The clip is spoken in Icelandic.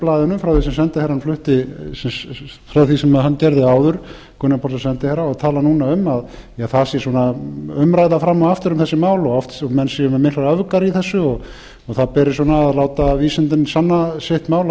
blaðinu frá því sem hann gerði áður gunnar pálsson sendiherra og talar núna um að það sé svona umræða fram og aftur um þessi mál menn séu með miklar öfgar í þessu það beri að láta vísindin sanna sitt mál